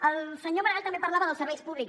el senyor maragall també parlava dels serveis públics